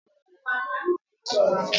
Nna nna anyị hà ji aja ụrọ wuo ụlọ ha